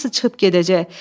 Hamısı çıxıb gedəcək.